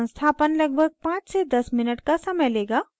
संस्थापन लगभग 5 से 10 minutes का समय लेगा